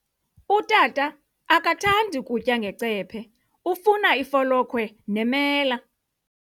Utata akathandi kutya ngecephe, ufuna ifolokhwe nemela.